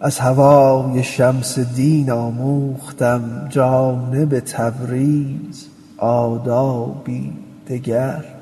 از هوای شمس دین آموختم جانب تبریز آدابی دگر